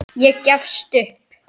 Ég gefst upp